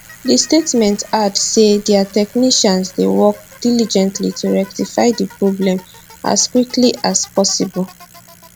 di statement add say dia technicians dey work diligently to rectify di problem as quickly as possible